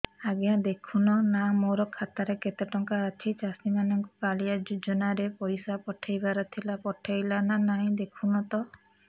ଆଜ୍ଞା ଦେଖୁନ ନା ମୋର ଖାତାରେ କେତେ ଟଙ୍କା ଅଛି ଚାଷୀ ମାନଙ୍କୁ କାଳିଆ ଯୁଜୁନା ରେ ପଇସା ପଠେଇବାର ଥିଲା ପଠେଇଲା ନା ନାଇଁ ଦେଖୁନ ତ